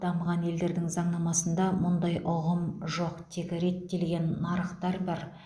дамыған елдердің заңнамасында мұндай ұғым жоқ тек реттелетін нарықтар бар